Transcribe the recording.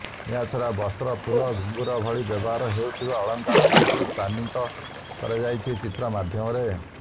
ଏହାଛଡ଼ା ବସ୍ତ୍ର ଫୁଲ ଘୁଙ୍ଗୁର ଭଳି ବ୍ୟବହାର ହେଉଥିବା ଅଳଙ୍କାରକୁ ବି ସ୍ଥାନିତ କରାଯାଇଛି ଚିତ୍ର ମାଧ୍ୟମରେ